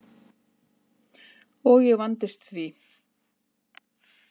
Og ég vandist því.